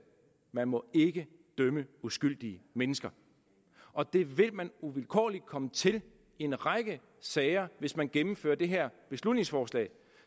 man må ikke dømme uskyldige mennesker og det vil man uvilkårligt komme til i en række sager hvis man gennemfører det her beslutningsforslag